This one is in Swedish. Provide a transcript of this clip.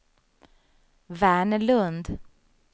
Verner Lundh